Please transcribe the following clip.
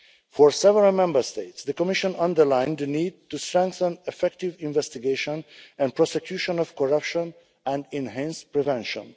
For several Member States, the Commission underlined the need to strengthen the effective investigation and prosecution of corruption and enhance prevention.